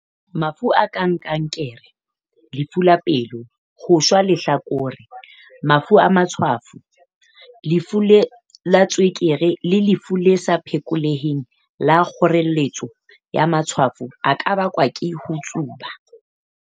"Mafu a kang kankere, lefu la pelo, ho shwa lehlakore, mafu a matshwafo, lefu la tswekere le lefu le sa phekoleheng la kgoreletso ya matshwafo a ka bakwa ke ho tsuba."